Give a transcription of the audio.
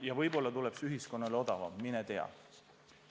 Ja võib-olla tuleb see ühiskonnale odavam, mine tea.